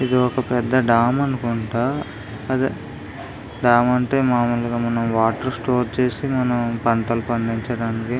ఇది ఒక పెద్ధ డామ్ అనుకుంటా అదే డామ్ అంటే మామూలుగా మనం వాటర్ స్టోర్ చేసి మనం పంటలు పండించడానికి.